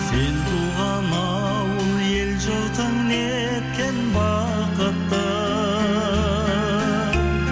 сен туған ауыл ел жұртың неткен бақытты